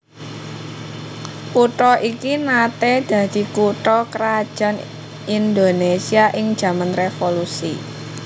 Kutha iki naté dadi kutha krajan Indonésia ing jaman revolusi